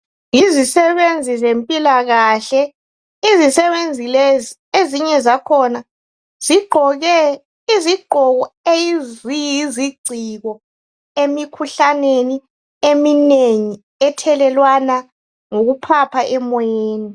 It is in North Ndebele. Yizisebenzi zempilakahle. Izisebenzi lezi ezinye zakhona zigqoke izigqoko eziyizigciko emikhuhlaneni eminengi ethelelwana ngokuphapha emoyeni.